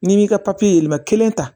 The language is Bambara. N'i m'i ka papiye yɛlɛma kelen ta